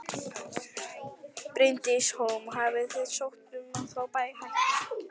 Bryndís Hólm: Og hafið þið sótt um að fá hækkun?